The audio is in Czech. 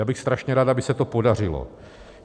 Já bych strašně rád, aby se to podařilo.